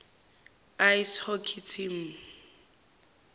ice hockey team